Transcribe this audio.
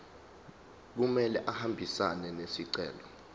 kumele ahambisane nesicelo